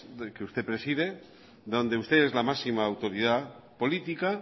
del que usted preside donde usted es la máxima autoridad política